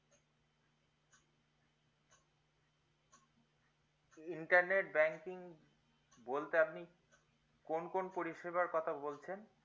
intrnet banking বলতে আপনি কোন কোন পরিষেবার কথা বলছেন